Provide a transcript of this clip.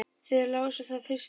Þið lásuð það fyrst hér.